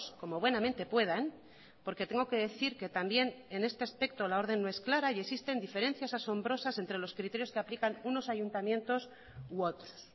como buenamente puedan porque tengo que decir que también en este aspecto la orden no es clara y existen diferencias asombrosas entre los criterios que aplican unos ayuntamientos u otros